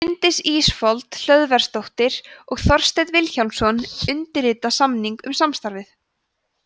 bryndís ísfold hlöðversdóttir og þorsteinn vilhjálmsson undirrita samning um samstarfið